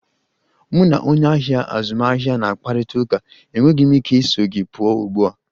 Mụ na onye ahịa azụmaahịa na-akparịta ụka, enweghị m ike iso gị pụọ ugbu a.